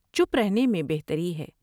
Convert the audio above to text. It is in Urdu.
چپ رہنے میں بہتری ہے ۔